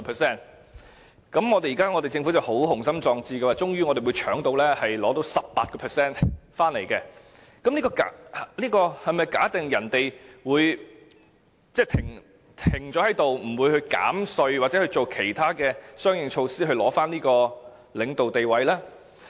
政府相當雄心壯志，認為最終可搶走 18% 市場份額，這是否假定別人會停下來，不會減稅或採取相應措施，以重奪領導地位呢？